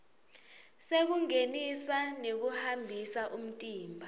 sekungenisa nekuhambisa imitimba